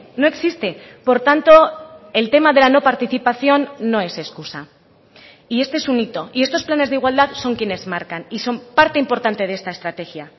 no existe por tanto el tema de la no participación no es excusa y este es un hito y estos planes de igualdad son quienes marcan y son parte importante de esta estrategia